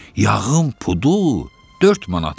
yağın pudu 4 manat idi.